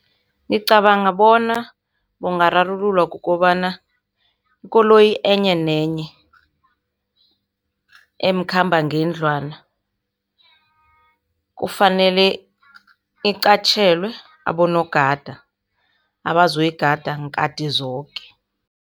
Ngicabanga bona ungararululwa kukobana, ikoloyi enye nenye, emkhambangendlwana kufanele iqatjhelwe abonogada, abazoyigada nkati zoke.